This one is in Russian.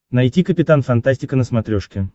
найти капитан фантастика на смотрешке